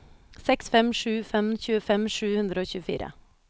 seks fem sju fem tjuefem sju hundre og tjuefire